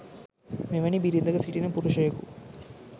මෙවැනි බිරිඳක සිටින පුරුෂයෙකු